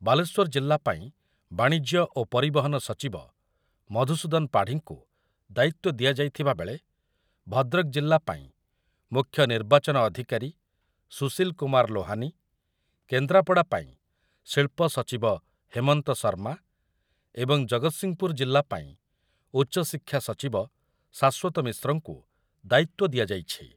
ବାଲେଶ୍ୱର ଜିଲ୍ଲାପାଇଁ ବାଣିଜ୍ୟ ଓ ପରିବହନ ସଚିବ ମଧୁସୂଦନ ପାଢ଼ୀଙ୍କୁ ଦାୟିତ୍ୱ ଦିଆଯାଇଥିବାବେଳେ ଭଦ୍ରକ ଜିଲ୍ଲାପାଇଁ ମୁଖ୍ୟ ନିର୍ବାଚନ ଅଧିକାରୀ ସୁଶିଲ୍ କୁମାର ଲୋହାନୀ, କେନ୍ଦ୍ରାପଡ଼ା ପାଇଁ ଶିଳ୍ପ ସଚିବ ହେମନ୍ତ ଶର୍ମା ଏବଂ ଜଗତସିଂହପୁର ଜିଲ୍ଲାପାଇଁ ଉଚ୍ଚଶିକ୍ଷା ସଚିବ ଶାଶ୍ୱତ ମିଶ୍ରଙ୍କୁ ଦାୟିତ୍ୱ ଦିଆଯାଇଛି ।